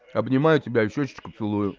обнимаю тебя в щёку целую